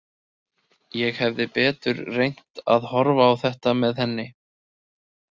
Ég hefði betur reynt að horfa á þetta með henni.